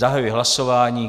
Zahajuji hlasování.